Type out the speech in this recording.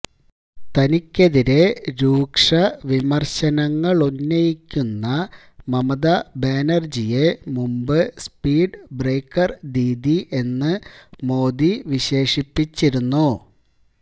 തനിക്കെതിരെ രൂക്ഷവിമര്ശനങ്ങളുന്നയിക്കുന്ന മമതാ ബാനര്ജിയെ മുമ്പ് സ്പീഡ് ബ്രേക്കര് ദീദി എന്ന് മോദി വിശേഷിപ്പിച്ചിരുന്നു